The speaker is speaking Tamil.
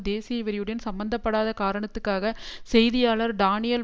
தேசிய வெறியுடன் சம்பந்த படாத காரணத்துக்காக செய்தியாளர் டானியல்